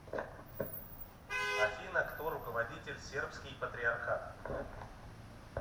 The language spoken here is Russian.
афина кто руководитель сербский патриархат